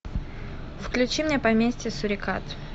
включи мне поместье сурикат